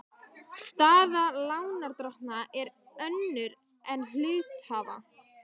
Staða lánardrottna er önnur en hluthafa.